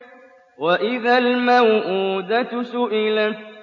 وَإِذَا الْمَوْءُودَةُ سُئِلَتْ